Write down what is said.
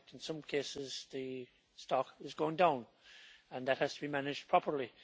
In fact in some cases, the stock is going down, and that has to be managed properly.